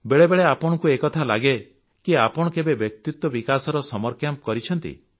ବେଳେବେଳେ ଆପଣଙ୍କୁ ଏକଥା ଲାଗେ କି ଆପଣ କେବେ ବ୍ୟକ୍ତିତ୍ୱ ବିକାଶର ସମର କ୍ୟାମ୍ପ କରିଛନ୍ତି